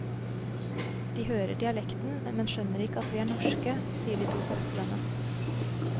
De hører dialekten, men skjønner ikke at vi er norske, sier de to søstrene.